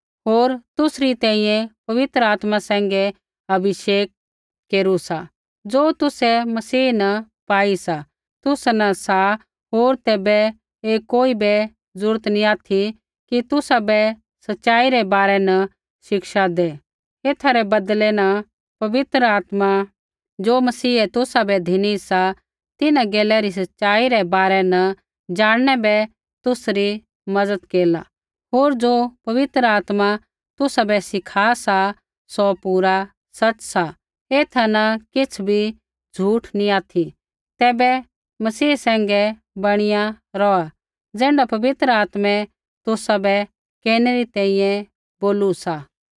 होर तुसरी तैंईंयैं पवित्र आत्मा सैंघै अभिषेक केरू सा ज़ो तुसै मसीह न पाई सा तुसा न सा होर तैबै ऐ कोई बै जरूरत नी ऑथि कि तुसाबै सच़ाई रै बारै न शिक्षा दै एथा रै बदलै न पवित्र आत्मा ज़ो मसीहै तुसाबै धिनी सा तिन्हां गैला री सच़ाई रै बारै न ज़ाणनै बै तुसरी मज़त केरला होर ज़ो पवित्र आत्मा तुसाबै सिखा सा सौ पूरा सच़ सा एथा न किछ़ बी झ़ुठ नी ऑथि तैबै मसीह सैंघै बणिया रौहा ज़ैण्ढा पवित्र आत्मै तुसाबै केरनै री तैंईंयैं बोलू सा